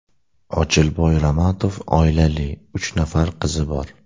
Ochilboy Ramatov oilali, uch nafar qizi bor.